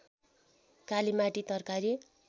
कालीमाटी तरकारी